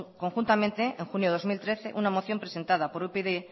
conjuntamente en junio de dos mil trece una moción presentada por upyd